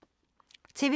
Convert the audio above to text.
TV 2